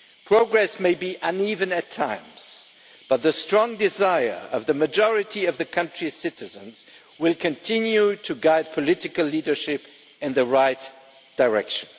Progress may be uneven at times, but the strong desire of the majority of the country's citizens will continue to guide political leadership in the right direction.